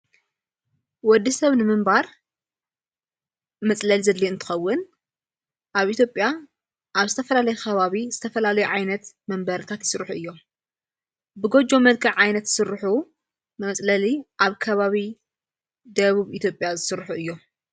ወዲ ሰብ ንምንባር መጽለል ዘድል እንትኸውን ኣብ ኢትዮጵያ ኣብ ዝተፈላለይ ኸባዊ ዝተፈላለይ ዓይነት መንበርካት ይሥርሑ እዮም ብጐጀ መድጋዕ ዓይነት ሥርኁ መጽለሊ ኣብ ከባዊ ደቡብ ኢትጵያ ዝሥርኁ እዮም::